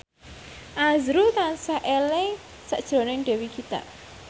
azrul tansah eling sakjroning Dewi Gita